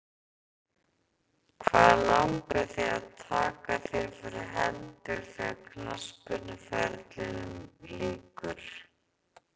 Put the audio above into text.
Hvað langar þig að taka þér fyrir hendur þegar knattspyrnuferlinum lýkur?